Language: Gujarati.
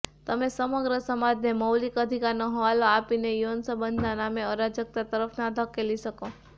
તમે સમગ્ર સમાજને મૌલિક અધિકારનો હવાલો આપીને યૌન સંબંધના નામે અરાજકતા તરફ ના ધકેલી શકો